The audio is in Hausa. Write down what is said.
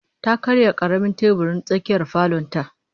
Ta karya karamin teburin tsakiyar falon ta